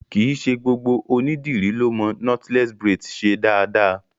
Kìí ṣe gbogbo ònídìrí lọ mo knotless braids ṣe dáadáa.